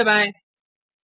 enter दबाएँ